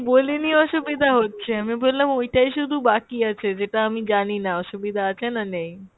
বলিনি অসুবিধা হচ্ছে, আমি বললাম ওইটাই শুধু বাকি আছে যেটা আমি জানিনা অসুবিধা আছে না নেই।